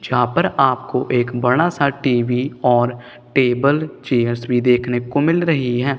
जहां पर आपको एक बड़ा सा टी_वी और टेबल चेयर्स भी देखने को मिल रही हैं।